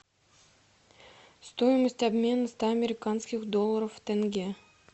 стоимость обмена ста американских долларов в тенге